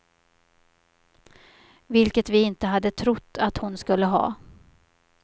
Vilket vi inte hade trott att hon skulle ha.